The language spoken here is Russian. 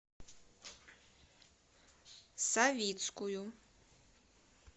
савицкую